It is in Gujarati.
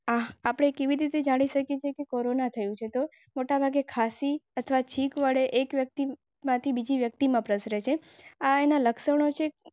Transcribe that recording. આપણે કેવી રીતે જાણી શકે છે? કોરોના થયું છે તો મોટાભાગે ખાંસી અથવા છીંક વડે એક વ્યક્તિમાંથી બીજી વ્યક્તિમાં પ્રસરે આયના લક્ષણો.